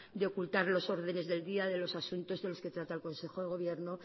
de ocultar los órdenes del día de los asuntos de los que trata el consejo de gobierno